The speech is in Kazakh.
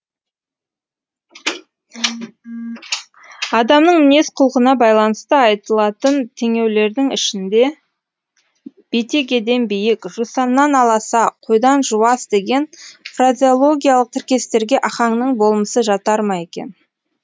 адамның мінез құлқына байланысты айтылатын теңеулердің ішінде бетегеден биік жусаннан аласа қойдан жуас деген фразеологиялық тіркестерге ахаңның болмысы жатар ма екен